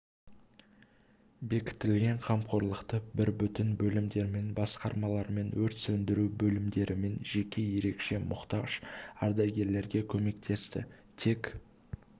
бекітілген қамқорлықты бір бүтін бөлімдермен басқармалармен өрт сөндіру бөлімдерімен жеке ерекше мұқтаж ардагерлерге көмектесті тек